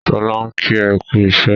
Sọlá ń kí ẹ kú iṣẹ́.